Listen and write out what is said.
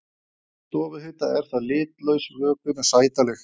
Við stofuhita er það litlaus vökvi með sæta lykt.